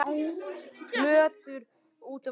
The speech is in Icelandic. Plötur út um allt.